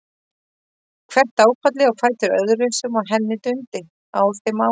Hvert áfallið á fætur öðru sem á henni dundi á þeim árum.